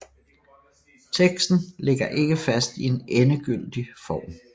Teksten ligger ikke fast i en endegyldig form